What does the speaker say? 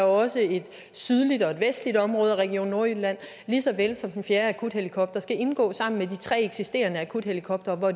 også et sydligt og et vestligt område af region nordjylland og den fjerde akuthelikopter skal indgå sammen med de tre eksisterende akuthelikoptere og